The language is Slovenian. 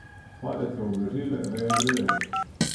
Padec so ublažile veje dreves.